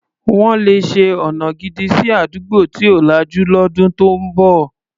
Wọ́n le ṣe ọna gidi sí àdúgbò tí ò lajú lọ́dún tó ń bọ̀.